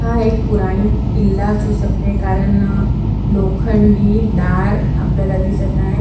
हा एक पुराणिक किल्ला असू शकते कारण लोखंडी दार आपल्याला दिसत आहे.